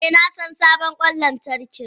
Eh nasan sabon kwan lantarki.